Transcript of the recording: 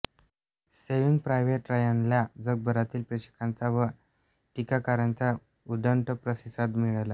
saving private रायनला जगभरातील प्रेक्षकांचा व टीकाकारांचा उदंड प्रतिसाद मिळाला